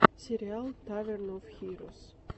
сериал таверн оф хирос